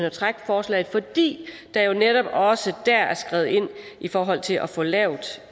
at trække forslaget fordi der jo netop også der er skrevet ind i forhold til at få lavet